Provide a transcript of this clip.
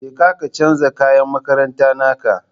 Jeka ka canja kayan makarantan naka